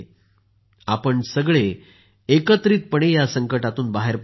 आपण सगळे एकत्रितपणे या संकटातून बाहेर पडणार आहोत